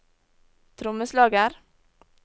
trommeslager